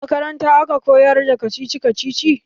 A makaranta a ka koyar da kacici kacici